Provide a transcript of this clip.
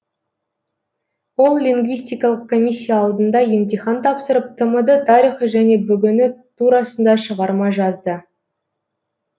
ол лингвистикалық комиссия алдында емтихан тапсырып тмд тарихы және бүгіні турасында шығарма жазды